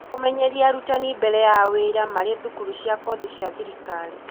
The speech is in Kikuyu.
Kũmenyeria arutani mbere ya wĩra marĩ thukuru cia korĩgi cia thirikari.